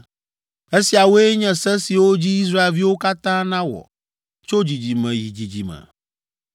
“ ‘Esiawoe nye se siwo dzi Israelviwo katã nawɔ tso dzidzime yi dzidzime.